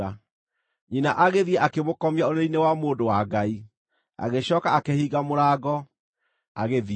Nyina agĩthiĩ, akĩmũkomia ũrĩrĩ-inĩ wa mũndũ wa Ngai, agĩcooka akĩhinga mũrango, agĩthiĩ.